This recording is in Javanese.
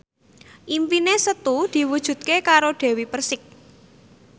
impine Setu diwujudke karo Dewi Persik